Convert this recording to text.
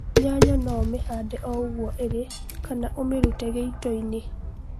Nyanya no ũmihande o ũguo ĩlĩ kana ũmirute gĩitoinĩ